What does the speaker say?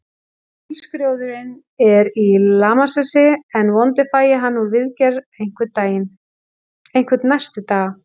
Bílskrjóðurinn er í lamasessi, en vonandi fæ ég hann úr viðgerð einhvern næstu daga.